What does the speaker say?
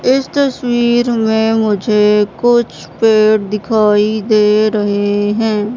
इस तस्वीर में मुझे कुछ पेड़ दिखाई दे रहे हैं।